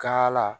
Ka la